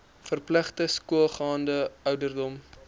verpligte skoolgaande ouderdom